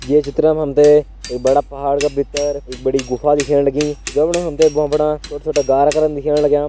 ये चित्र मा हम तें एक बड़ा पहाड़ का भीतर एक बड़ी गुफा दिखेण लगीं जफणा हम तें भ्वां फणा छोटा छोटा गारा करन दिखेण लग्यां।